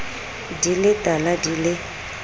di le tala di le